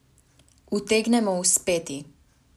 Utegnemo uspeti!